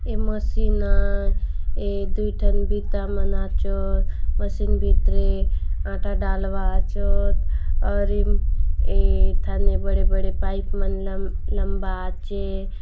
ए machine आय ए दुयठन बिता मन आचोत मशीन भीतरे आटा डाल वाआचोत और इम-- इथाने बड़े-बड़े पाइप मन लंबा आचे।